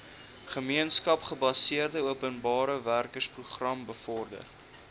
gemeenskapsgebaseerde openbarewerkeprogram bevorder